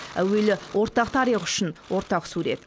әуелі ортақ тарих үшін ортақ сурет